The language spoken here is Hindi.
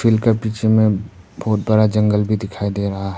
इनके पीछे में बहुत बड़ा जंगल भी दिखाई दे रहा है।